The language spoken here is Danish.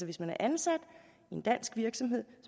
hvis man er ansat i en dansk virksomhed